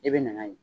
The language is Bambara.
I bɛ na n'a ye